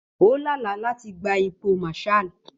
Ó lá àlá láti gba ipò Marshal.